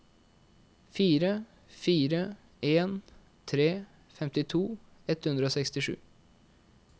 fire fire en tre femtito ett hundre og sekstisju